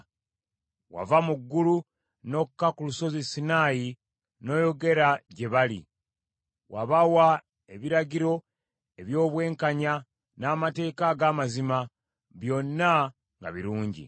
“Wava mu ggulu, n’okka ku Lusozi Sinaayi n’oyogera gye bali. Wabawa ebiragiro eby’obwenkanya, n’amateeka ag’amazima, byonna nga birungi.